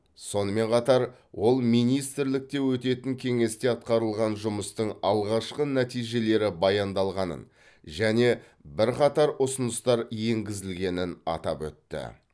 сонымен қатар ол министрлікте өтетін кеңесте атқарылған жұмыстың алғашқы нәтижелері баяндалғанын және бірқатар ұсыныстар енгізілгенін атап өтті